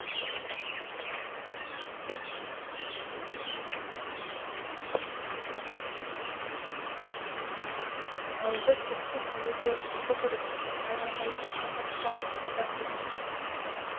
аузы түкті кәуірге құлдық ұрып айрылмайтын қамыттан қазақ қана